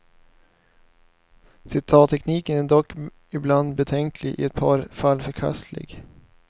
Citattekniken är dock ibland betänklig, i ett par fall förkastlig.